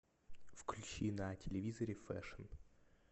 включи на телевизоре фэшн